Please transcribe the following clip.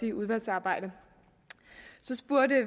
i udvalgsarbejdet